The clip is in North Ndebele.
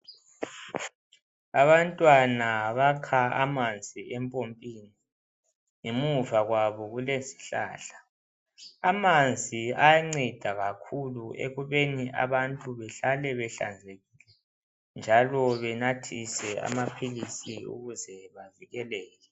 Abantwana bakha amanzi empompini ngemuva kwabo kulezihlahla. Amanzi ayanceda kakhulu ekubeni abantu behlale behlanzekile njalo benathise amaphilisi ukuze bavikeleke.